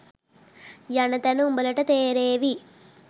යන තැන උඹලට තේරෙවි.